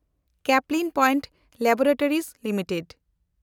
Caplin Point Laboratories limited